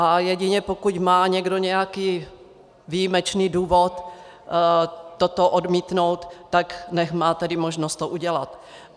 A jedině pokud má někdo nějaký výjimečný důvod toto odmítnout, tak nechť má tedy možnost to udělat.